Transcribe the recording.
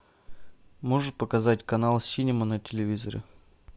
можешь показать канал синема на телевизоре